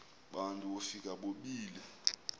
bantu wofika bobile